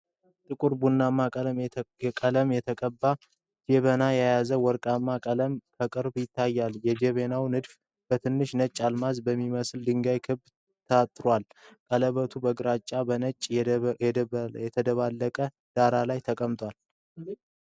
ጥቁር ቡናና ቀይ ቀለም የተቀባ ጄበና የያዘ ወርቃማ ቀለበት ከቅርበት ይታያል። የጄበናው ንድፍ በትንንሽ ነጭ አልማዝ በሚመስሉ ድንጋዮች ክብ ታጥሯል። ቀለበቱ በግራጫና በነጭ የተደበላለቀ ዳራ ላይ ተቀምጧል።